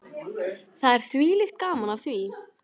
Það er þvílíkt gaman af því.